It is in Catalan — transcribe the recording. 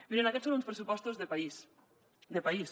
mirin aquests són uns pressupostos de país de país